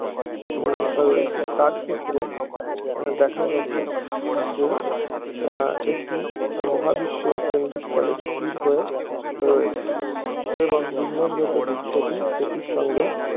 উহ রয়েছে তার ক্ষেত্রে দেখা গেছে যে আহ একটি মহাবিশ্বের কেন্দ্রস্থলে স্থির হয়ে রয়েছে এবং বিন্যাসগত দিক থেকে সেটির সঙ্গে